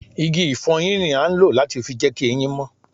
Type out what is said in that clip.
Igi ifoyin ni a ń lọ láti fi jẹ ki ẹyin mó